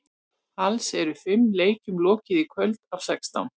Alls eru fimm leikjum lokið í kvöld af sextán.